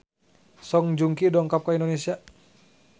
Song Joong Ki dongkap ka Indonesia